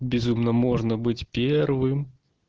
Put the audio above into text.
безумно можно быть первым